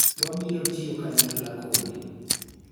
Wabiro tiyo kanyakla kodi